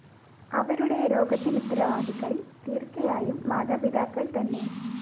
അവരുടെ രോഗത്തിനുത്തരവാദികള്‍ തീര്‍ച്ചയായും മാതാപിതാക്കള്‍ തന്നെ